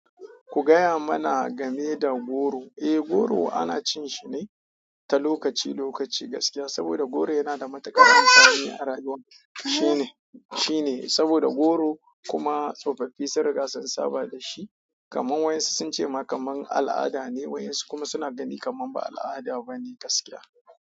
Ku gaya mana game da goro. Eh, goro ana cin shi ne ta lokaci lokaci gaskiya. Saboda goro yana da matuƙar amfani a rayuwar shine, shine. Saboda goro kuma tsofaffi sun riga sun saba da shi. Kaman waɗansu sun ce ma kaman al'ada ne. Waɗansu kuma suna gani kaman ba al'ada ba ne gaskiya.